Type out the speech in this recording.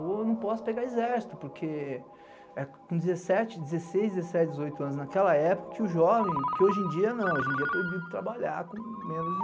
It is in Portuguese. Eu não posso pegar exército, porque é com dezessete, dezesseis, dezessete, dezoito anos naquela época que o jovem, que hoje em dia não, hoje em dia é proibido trabalhar com menos de dezoito.